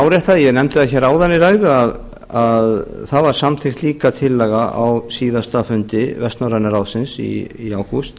árétta ég nefndi það hér áðan í ræðu að það var samþykkt líka tillaga á síðasta fundi vestnorræna ráðsins í ágúst